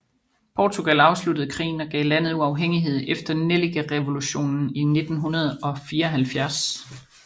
Portugal afsluttede krigen og gav landet uafhængighed efter Nellikrevolutionen i 1974